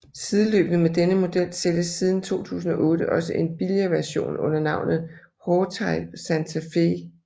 Sideløbende med denne model sælges siden 2008 også en billigere version under navnet Hawtai Santa Fe